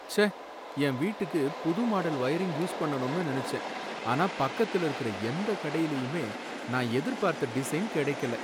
ச்சே! என் வீட்டுக்கு புது மாடல் வயரிங் யூஸ் பண்ணனும்னு நினைச்சேன், ஆனா பக்கத்துல இருக்குற எந்த கடையிலயுமே நான் எதிர்பார்த்த டிசைன் கடைக்கல.